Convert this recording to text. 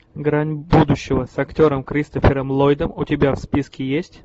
грань будущего с актером кристофером ллойдом у тебя в списке есть